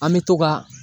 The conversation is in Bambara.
An bɛ to ka